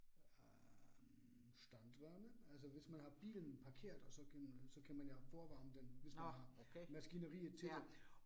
Øh standwarme altså hvis man har bilen parkeret, og så kan så kan man jo forvarme den, hvis man har maskineriet til det